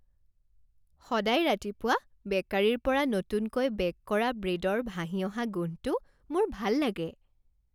সদায় ৰাতিপুৱা বেকাৰীৰ পৰা নতুনকৈ বে'ক কৰা ব্ৰেডৰ ভাহি অহা গোন্ধটো মোৰ ভাল লাগে।